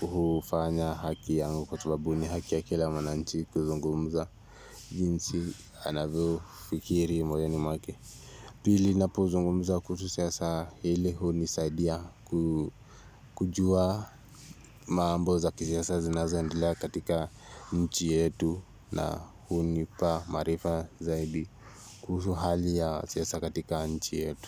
hufanya haki yangu kwa sababu ni haki ya kila mwananchi kuzungumza jinsi anavyofikiri moyoni mwake pili ninapuzungumuza kuhusu siasa hili hunisaidia kujua mambo za kisiasa zinazoendela katika nchi yetu na hunipa maarifa zaidi kuhusu hali ya siasa katika nchi yetu.